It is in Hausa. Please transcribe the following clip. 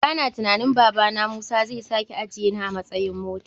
Bana tunanin babana musa zai sake ajiyeni a matsayan mota.